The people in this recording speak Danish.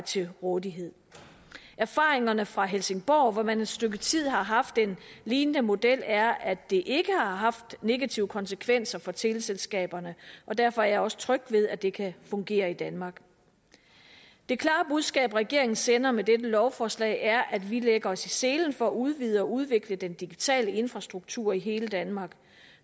til rådighed erfaringerne fra helsingborg hvor man et stykke tid har haft en lignende model er at det ikke har haft negative konsekvenser for teleselskaberne og derfor er jeg også tryg ved at det kan fungere i danmark det klare budskab regeringen sender med dette lovforslag er at vi lægger os i selen for at udvide og udvikle den digitale infrastruktur i hele danmark